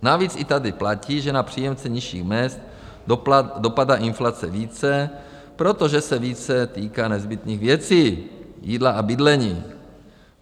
Navíc i tady platí, že na příjemce nižších mezd dopadá inflace více, protože se více týká nezbytných věcí, jídla a bydlení.